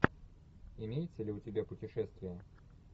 имеется ли у тебя путешествие